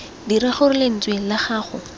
dira gore lentswe la gago